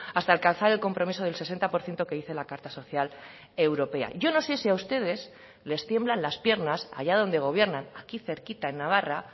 hasta alcanzar el compromiso del sesenta por ciento que dice la carta social europea yo no sé si a ustedes les tiemblan las piernas haya donde gobiernan aquí cerquita en navarra